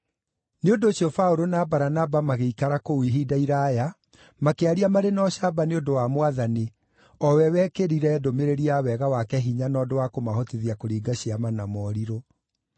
Nĩ ũndũ ũcio Paũlũ na Baranaba magĩikara kũu ihinda iraaya, makĩaria marĩ na ũcamba nĩ ũndũ wa Mwathani, o we wekĩrire ndũmĩrĩri ya wega wake hinya na ũndũ wa kũmahotithia kũringa ciama na morirũ.